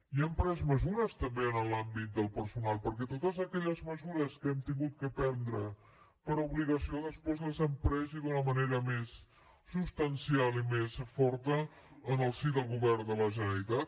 i hem pres mesures també en l’àmbit del personal perquè totes aquelles mesures que hem hagut de prendre per obligació després les hem pres i d’una manera més substancial i més forta en el si del govern de la generalitat